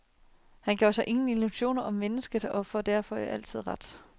Han gjorde sig ingen illusioner om mennesket og får derfor altid ret.